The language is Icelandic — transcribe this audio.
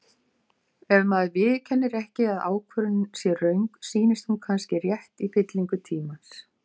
Ef maður viðurkennir ekki að ákvörðun sé röng, sýnist hún kannski rétt í fyllingu tímans.